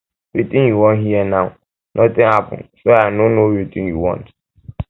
wetin you wan hear now nothing happen so i no know wetin you want